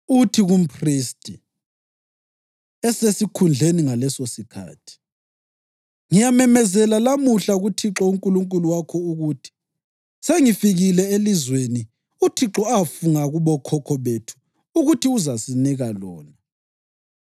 uthi kumphristi osesikhundleni ngalesosikhathi, ‘Ngiyamemezela lamuhla kuThixo uNkulunkulu wakho ukuthi sengifikile elizweni uThixo afunga kubokhokho bethu ukuthi uzasinika lona.’